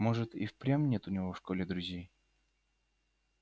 может и впрямь нет у него в школе друзей